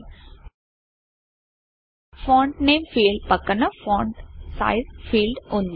font font name field పక్కన font font size ఫీల్డ్వుంది